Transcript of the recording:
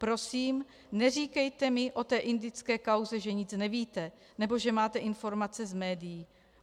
Prosím neříkejte mi o té indické kauze, že nic nevíte nebo že máte informace z médií.